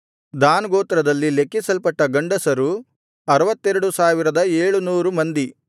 than ಗೋತ್ರದಲ್ಲಿ ಲೆಕ್ಕಿಸಲ್ಪಟ್ಟ ಗಂಡಸರು 62700 ಮಂದಿ